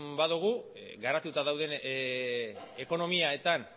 badugu garatuta dauden ekonomietan